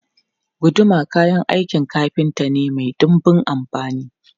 Guduma kayan aikin kafinta ne mai dunbun amfani.